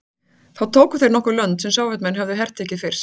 Þá tóku þeir nokkur lönd sem Sovétmenn höfðu hertekið fyrst.